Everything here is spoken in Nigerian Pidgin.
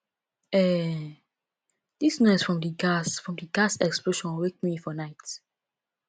um dis noise from di gas from di gas explosion wake me for night